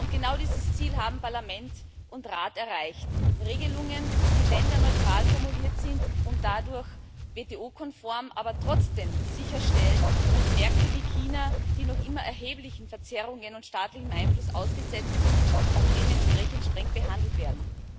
Genau dieses Ziel haben Parlament und Rat erreicht Regelungen, die länderneutral formuliert und dadurch WTO konform sind, aber trotzdem sicherstellen, dass Märkte wie China, die noch immer erheblichen Verzerrungen und staatlichem Einfluss ausgesetzt sind, auch dementsprechend streng behandelt werden.